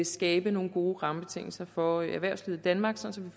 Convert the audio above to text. skabe nogle gode rammebetingelser for erhvervslivet i danmark sådan